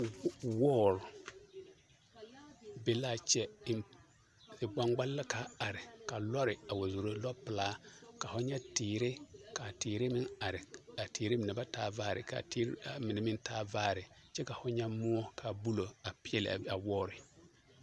Wɔɔre be l'a kyɛ zigbaŋgbali la k'a are ka lɔɔre wa zoro, lɔpelaa ka ho nyɛ teere, k'a teere meŋ are, a teere mine ba taa vaare k'a mine meŋ taa vaare kyɛ ka ho nyɛ moɔ k'a bulo a peɛle a wɔɔre.